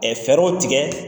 fɛɛrɛw tigɛ